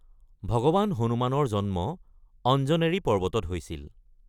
ভগৱান হনুমানৰ জন্ম অঞ্জনেৰী পৰ্বতত হৈছিল।